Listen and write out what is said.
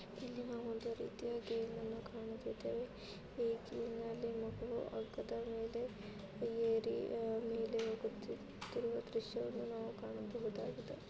ಇಲ್ಲಿ ನಾವು ಒಂದು ರೀತಿಯ ಗೇಮನ್ನು ಕಾಣುತೀದ್ದೇವೆ ಇಲ್ಲಿ ಮಗು ಹಗ್ಗದ ಮೇಲೆ ಏರಿ ಹೋಗುತ್ತಿರುವುದನ್ನು ದೃಶ್ಯವನ್ನು ನಾವು ನೋಡಬಹುದಾಗುದೆ .